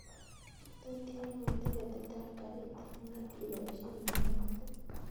Tot ialwon tiketit ab garit ab maat iboishen dolait